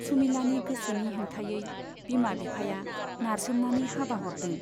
सुमिलानि गोसोनि हेंथायै बिमा बिफाया नारसोमनानै हाबा हरदों।